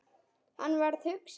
Hann varð hugsi.